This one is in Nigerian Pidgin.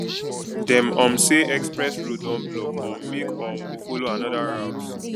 dem um say express road don block um make um we folo another route